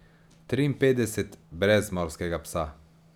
Triinpetdeset brez Morskega psa.